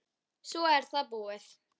Svo er það búið.